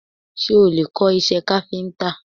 Ṣé o lè kọ́ iṣẹ́ káfíńtà?